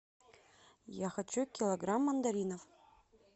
я хочу килограмм мандаринов